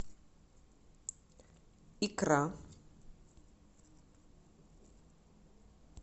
икра